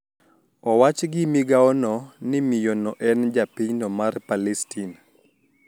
Owach gi migao no ni miyo no en japinyno mar Palestin